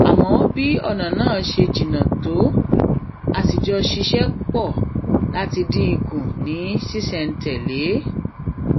a mọ bí ònà náà ṣe jìnnà tó a sì jọ ṣiṣé pò láti dín in kù ní ṣísèntèlé